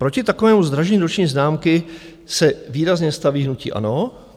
Proti takovému zdražení roční známky se výrazně staví hnutí ANO.